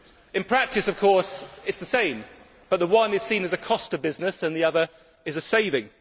In practice, of course, it is the same, but one is seen as a cost to business, and the other as a saving.